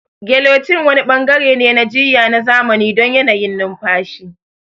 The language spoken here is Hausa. Gelocin wani bangare ne na jiyya na zamani don yanayin numfashi.